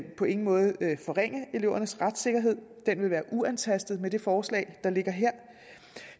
på ingen måde vil forringe elevernes retssikkerhed den vil være uantastet med det forslag der ligger her